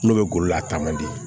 N'o bɛ golo la a taama di